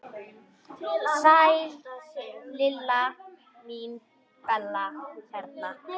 Sæl Lilla mín, Bella hérna.